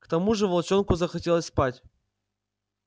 к тому же волчонку захотелось спать